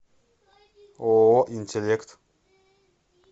ооо интеллект